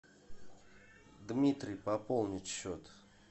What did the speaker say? дмитрий пополнить счет